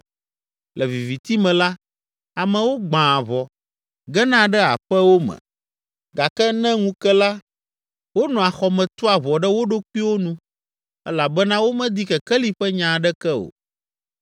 Le viviti me la, amewo gbãa ʋɔ, gena ɖe aƒewo me gake ne ŋu ke la, wonɔa xɔ me tua ʋɔ ɖe wo ɖokuiwo nu elabena womedi kekeli ƒe nya aɖeke o.